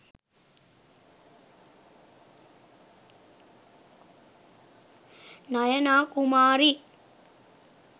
nayana kumari